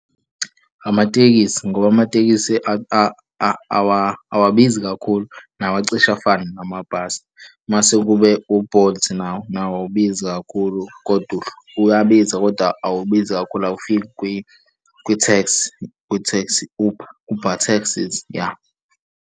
Amatekisi, ngoba amatekisi awabizi kakhulu, nawo acishe afane namabhasi. Mase kube u-Bolt nawo, nawo awubizi kakhulu koda uyabiza, koda awubizi kakhulu. Awufiki kwitheksi, Uber, Uber taxi, ya.